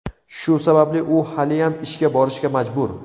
Shu sababli u haliyam ishga borishga majbur.